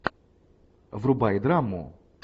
врубай драму